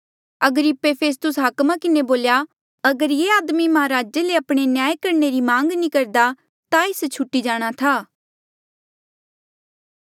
अग्रिप्पे फेस्तुस हाकमा किन्हें बोल्या अगर ये आदमी महाराजे से आपणे न्याय करणे री मांग नी करदा ता एस छुटी जाणा था